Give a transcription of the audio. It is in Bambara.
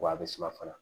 Wa a bɛ suma fana